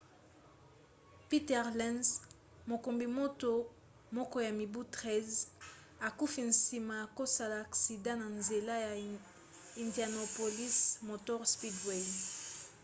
peter lenz mokumbi moto moko ya mibu 13 akufi nsima ya kosala aksida na nzela ya indianapolis motor speedway